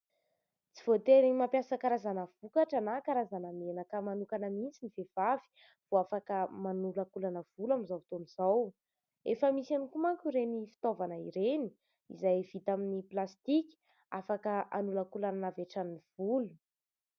Tsy voatery mampiasa karazana vokatra na karazana menaka manokana mihitsy ny vehivavy vao afaka manolankolana volo amin'izao fotoana izao. Efa misy ihany koa manko ireny fitaovana ireny izay vita amin'ny plastika, afaka hanolankolanana avy hatrany ny volo.